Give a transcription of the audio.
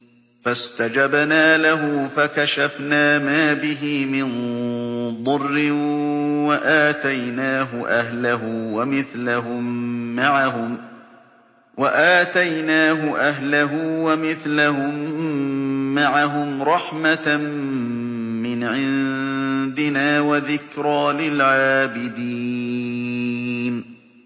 فَاسْتَجَبْنَا لَهُ فَكَشَفْنَا مَا بِهِ مِن ضُرٍّ ۖ وَآتَيْنَاهُ أَهْلَهُ وَمِثْلَهُم مَّعَهُمْ رَحْمَةً مِّنْ عِندِنَا وَذِكْرَىٰ لِلْعَابِدِينَ